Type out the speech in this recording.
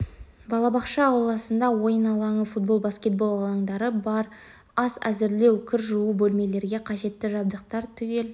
балабақша ауласында ойын алаңы футбол баскетбол алаңдары бар ас әзірлеу кір жуу бөлмелерге қажетті жабдықтар түгел